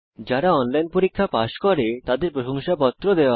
যারা অনলাইন পরীক্ষা পাস করে তাদের প্রশংসাপত্র দেয়